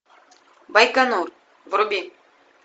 байконур вруби